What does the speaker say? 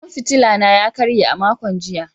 Hasken fitila na ya karye a makon jiya.